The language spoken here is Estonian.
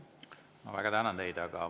Ma väga tänan teid!